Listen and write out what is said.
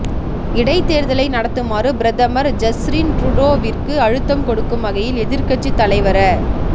இடைத் தேர்தலை நடத்துமாறு பிரதமர் ஜஸ்ரின் ட்ரூடோவிற்கு அழுத்தம் கொடுக்கும் வகையில் எதிர்க்கட்சி தலைவர